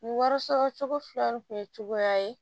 Nin wari sɔrɔcogo fila nin kun ye cogoya ye